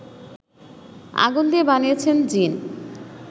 আগুন দিয়ে বানিয়েছেন জ্বিন